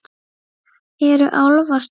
Eru álfar til?